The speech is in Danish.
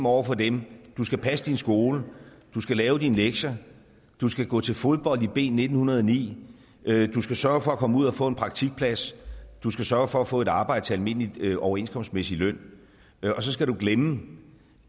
over for dem du skal passe din skole du skal lave dine lektier du skal gå til fodbold i b nitten hundrede og ni du skal sørge for at komme ud og få en praktikplads du skal sørge for at få et arbejde til almindelig overenskomstmæssig løn og så skal du glemme